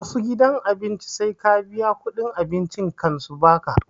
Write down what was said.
Wassu gidan abinci sai ka biya kuɗin abincin kan su baka